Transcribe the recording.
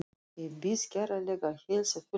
Ég bið kærlega að heilsa fjölskyldunni.